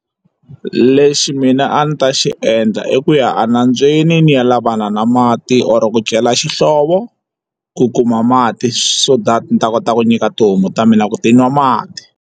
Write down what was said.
Lexi mina a ndzi ta xi endla i ku ya a nambyeni ni ya lavana na mati or ku cela xihlovo ku kuma mati so that ni ta kota ku nyika tihomu ta mina loko ti nwa mati.